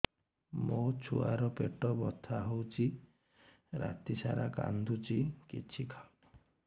ମୋ ଛୁଆ ର ପେଟ ବଥା ହଉଚି ରାତିସାରା କାନ୍ଦୁଚି କିଛି ଖାଉନି